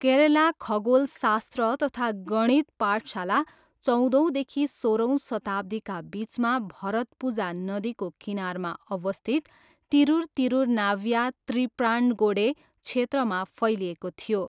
केरला खगोलशास्त्र तथा गणित पाठशाला चौधौँदेखि सोह्रौँ शताब्दीका बिचमा भरतपुजा नदीको किनारमा अवस्थित, तिरुर तिरुनावया त्रिप्रान्गोडे क्षेत्रमा फैलिएको थियो।